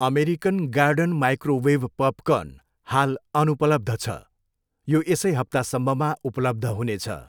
American garden microwave popcorn हाल अनुपलब्ध छ, यो यसै हप्तासम्ममा उपलब्ध हुनेछ।